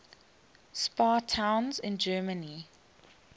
spa towns in germany